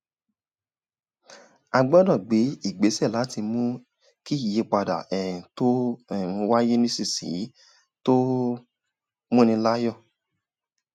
a gbọ́dọ̀ gbé ìgbésẹ̀ láti mú kí ìyípadà um tó um ń wáyé nísinsìnyí tó um ń múni láyọ̀